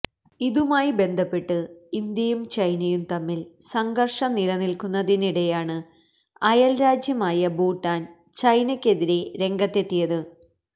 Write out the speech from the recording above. ഇതുമായി ബന്ധപ്പെട്ട് ഇന്ത്യയും ചൈനയും തമ്മില് സംഘര്ഷം നിലനില്ക്കുന്നതിനിടെയാണ് അയല്രാജ്യമായ ഭൂട്ടാന് ചൈനക്കെതിരെ രംഗത്തെത്തിയത്